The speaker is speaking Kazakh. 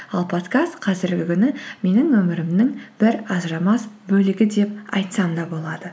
ал подкаст қазіргі күні менің өмірімнің бір ажырамас бөлігі деп айтсам да болады